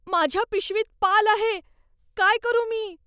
माझ्या पिशवीत पाल आहे. काय करू मी?